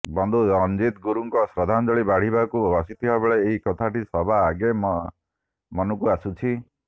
ବନ୍ଧୁ ରଣଜିତ୍ ଗୁରୁଙ୍କୁ ଶ୍ରଦ୍ଧାଞ୍ଜଳି ବାଢ଼ିବାକୁ ବସିବାବେଳେ ଏଇ କଥାଟି ସବାଆଗେ ମନକୁ ଆସୁଛି